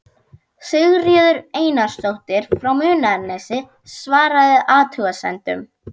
Sigríður Einarsdóttir frá Munaðarnesi svaraði athugasemdum